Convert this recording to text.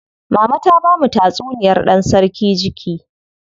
Mama ta bamu tatsuniyar dan sarki jiki.